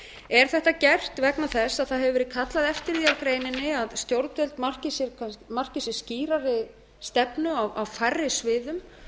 er þetta gert vegna þess að það hefur verið kallað eftir því af greininni að stjórnvöld marki sér skýrari stefnu á færri sviðum